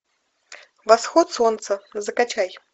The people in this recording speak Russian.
восход солнца закачай